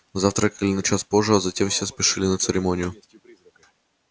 завтракали на час позже а затем все спешили на церемонию